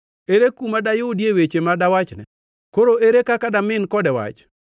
“Ere kuma dayudie weche ma dawachne? Koro ere kaka damin kode wach?